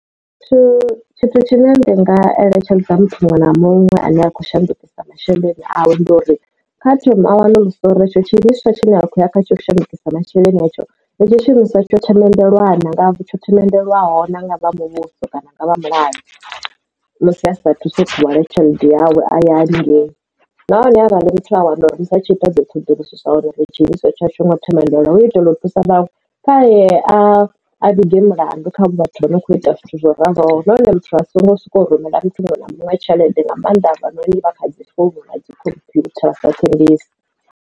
Tshithu tshithu tshine ndi nga eletshedza muthu muṅwe na muṅwe a ne a khou shandukisa masheleni awe ndi uri kha thoma a wanulusa uri hetsho tshi imiswa tshi ne a khou ya kha tsho u shandukisa masheleni hetsho tshiimiswa tsho themendelwaho na nga tsho themendelwaho na nga vha muvhuso kana nga vha mulayo musi a saathu tsho khou wana tshelede yawe a ya haningei nahone arali muthu a wana uri ri sa atshi ita dzi ṱhoḓuluso zwa uri tshiiswa a tshi ngo themendelwa u itela u thusa vhanwe kha e a a vhige mulandu kha vhathu vho no kho ita zwithu zwo raloho nahone muthu a songo soko rumela muthu muṅwe na muṅwe tshelede nga maanḓa afha noni kha khadi nga dzi computer dzi sa thembisi.